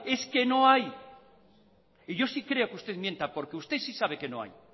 es que no hay y yo sí creo que usted mienta porque usted sí sabe que no hay